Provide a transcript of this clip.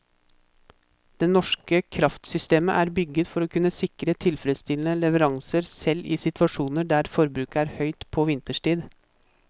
Det norske kraftsystemet er bygget for å kunne sikre tilfredsstillende leveranser selv i situasjoner der forbruket er høyt på vinterstid.